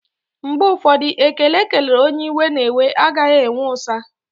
Mgbe ụfọdụ, ekele ekelere onye iwe na-ewe, a gaghị enwe ụ̀sá